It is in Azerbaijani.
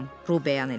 Ru bəyan elədi.